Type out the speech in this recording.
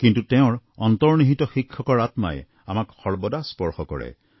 কিন্তু তেওঁৰ অন্তৰ্নিহিত শিক্ষকৰ আত্মাই আমাক সৰ্বদা স্পৰ্শ কৰে